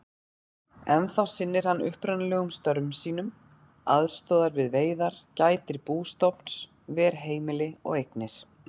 Ennþá sinnir hann upprunalegum störfum sínum, aðstoðar við veiðar, gætir bústofns, ver heimili og eignir.